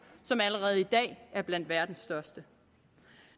som allerede i dag er blandt verdens største